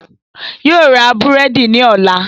Yóò ra búrẹ́dì ní ọ̀la